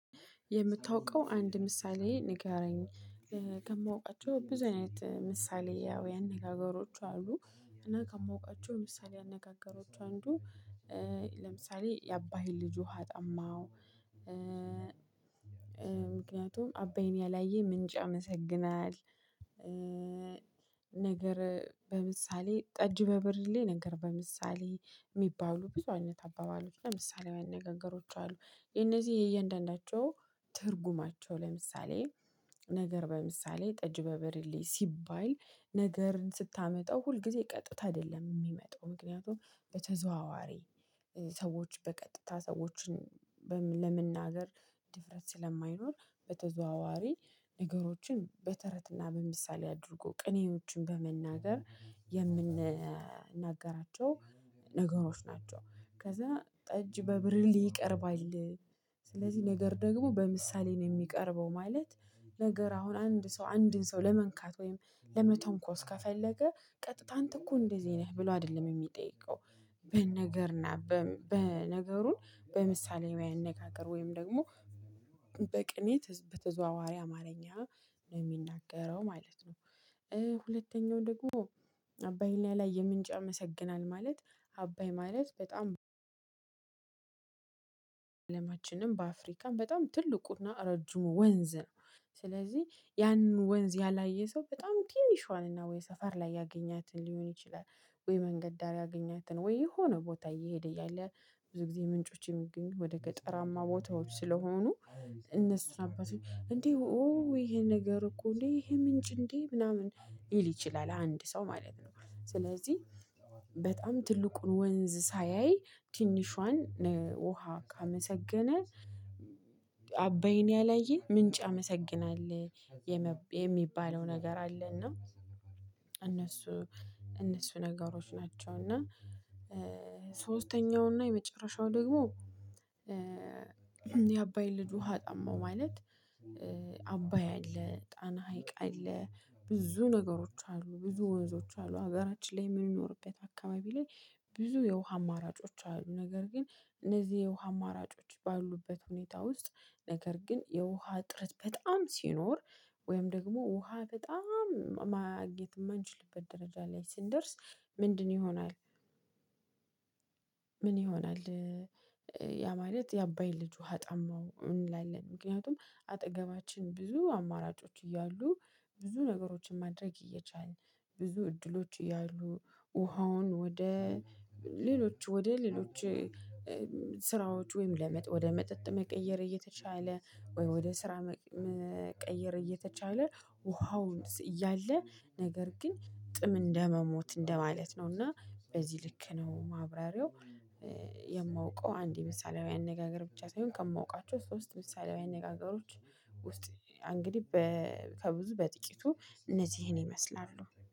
የምታውቀው አንድ ምሳሌ ንገረኝ ከማውቃቸው ብዙ አይነት ምሳሌ ያው የአነጋገሮች አሉ እና ከማውቃችው ምሳሌ አነጋገሮች አንዱ ለምሳሌ የአባይን ልጅ ውሃ ጠማው ምክንያቱም አባይን ያላየ ምንጭ ያመሰግናል ነገር በምሳሌ ጠጅ በብርሌ ነገር በምሳሌ የሚባሉ ብዙ አይነት አባባሎች እና ምሳሌያዊ አነጋገሮች አሉ። የነዚህ የእያንዳንዳቸው ትርጉማቸው ለምሳሌ ነገር በምሳሌ ጠጅ በብሪሌ ሲባል ነገርን ስታመጣው ሁልጊዜ ቀጥታ አይደለም የሚመጣው ምክንያቱም በተዘዋዋሪ ሰዎች በቀጥታ ሰዎችን ለመናገር ድፍረት ስለማይኖር በተዘዋዋሪ ነገሮችን በተረትና በምሳሌ አድርጎ ቅኔዎችን በመናገር የምንናገራቸው ነገሮች ናቸው ከዛ ጠጅ በብርሌ ይቀርባል ስለዚህ ነገር ደግሞ በምሳሌ ነው የሚቀርበው ማለት ነገር አሁን አንድ ሰው አንድን ሰው ለመንካት ወይም ለመተንኮስ ከፈለገ ቀጥታ አንተ እኮ እንደዚህ ነህ ብሎ አይደለም የሚጠይቀው። በነገርና በ በነገሩን በምሳሌያዊ አነጋገር ወይም ደግሞ በቅኔ ትዝ በተዘዋዋሪ አማርኛ ነው የሚናገረው ማለት ነው ሁለተኛው ደግሞ አባይን ያላየ ምንጭ ያመሰግናል ማለት አባይ ማለት በጣም አለማችንም በአፍሪካም በጣም ትልቁና እረጅሙ ወንዝ ነው። ስለዚህ ያንን ወንዝ ያላየ ሰው በጣም ትንሿንና ወይ ሰፈር ላይ ያገኛትን ሊሆን ይችላል ወይ መንገድ ዳር ያገኛትን ወይ የሆነ ቦታ እየሄደ እያለ ብዙ ጊዜ ምንጮች የሚገኙት ወደ ገጠራማ ቦታዎች ስለሆኑ እነሱ አባቶች እንዴ ኦ ይሄ ነገር እኮ እንዴ ይሄ ምንጭ እንዴ ምናምን ሊል ይችላል አንድ ሰው ማለት ነው። ስለዚህ በጣም ትልቁን ወንዝ ሳያይ ትንሿን ውሃ ካመሰገነ አባይን ያላየ ምንጭ ያመሰግናል የመብ የሚባለው ነገር አለ እና እነሱ እነሱ ነገሮች ናቸው እና ሶስተኛው እና የመጨረሻው ደግሞ የአባይን ልጅ ውሃ ጠማው ማለት አባይ አለ ጣና ሀይቅ አለ ብዙ ነገሮች አሉ ብዙ ወንዞች አሉ ሀገራችን ላይ የምንኖርበት አካባቢ ላይ ብዙ የውሃ አማራጮች አሉ ነገር ግን እነዚህ የውሃ አማራጮች ባሉበት ሁኔታ ውስጥ ነገር ግን የውሃ እጥረት በጣም ሲኖር ወይም ደግሞ ውሃ በጣም ማግኘት የማንችልበት ደረጃ ላይ ስንደርስ ምንድን ይሆናል ምን ይሆናል ያ ማለት የአባይን ልጅ ውሃ ጠማው እንላለን። ምክንያቱም አጠገባችን ብዙ አማራጮች እያሉ ብዙ ነገሮችን ማድረግ እየቻልን ብዙ እድሎች እያሉ ውሃውን ወደ ሌሎች ወደ ሌሎች ስራዎች ወይም ለመጥ ወደ መጠጥ መቀየር እየተቻለ ወይ ወደ ስራ መቀየር እየተቻለ ውሃውን ስ እያለ ነገር ግን ጥም እንደመሞት እንደማለት ነው እና በዚህ ልክ ነው ማብራሪያው የማውቀው አንድ የምሳሌያዊ አነጋገር ብቻ ሳይሆን ከማውቃቸው ሶስት ምሳሌያዊ አነጋገሮች ውስጥ አ እንግዲህ በ ከብዙ በጥቂቱ እነዚህን ይመስላሉ